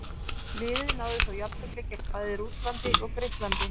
Liðið náði þó jafntefli gegn bæði Rússlandi og Grikklandi.